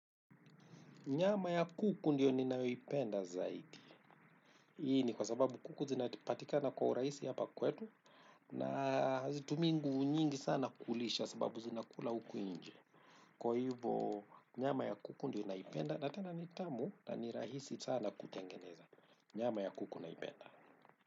Nyama ya kuku ndiyo ninayoipenda zaidi. Hii ni kwa sababu kuku zinapatikana kwa urahisi hapa kwetu na hazitumii nguvu nyingi sana kulisha kwa sababu zinakula huku nje. Kwa hivo nyama ya kuku ndiyo naipenda na tena nitamu na ni rahisi sana kutengeneza. Nyama ya kuku naipenda.